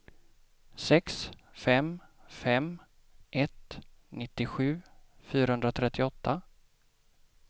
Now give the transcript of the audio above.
sex fem fem ett nittiosju fyrahundratrettioåtta